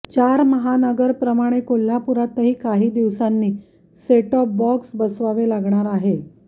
चार महानगरप्रमाणे कोल्हापुरातही काही दिवसांनी सेटटॉप बॉक्स बसवावे लागणार आहे